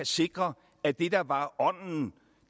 sikre at det der var ånden